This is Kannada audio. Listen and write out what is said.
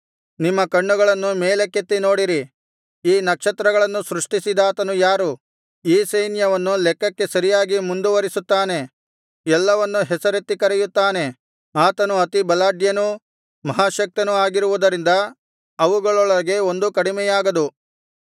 ನಿಮ್ಮ ಕಣ್ಣುಗಳನ್ನು ಮೇಲಕ್ಕೆತ್ತಿ ನೋಡಿರಿ ಈ ನಕ್ಷತ್ರಗಳನ್ನು ಸೃಷ್ಟಿಸಿದಾತನು ಯಾರು ಈ ಸೈನ್ಯವನ್ನು ಲೆಕ್ಕಕ್ಕೆ ಸರಿಯಾಗಿ ಮುಂದುವರಿಸುತ್ತಾನೆ ಎಲ್ಲವನ್ನೂ ಹೆಸರೆತ್ತಿ ಕರೆಯುತ್ತಾನೆ ಆತನು ಅತಿ ಬಲಾಢ್ಯನೂ ಮಹಾಶಕ್ತನೂ ಆಗಿರುವುದರಿಂದ ಅವುಗಳೊಳಗೆ ಒಂದೂ ಕಡಿಮೆಯಾಗದು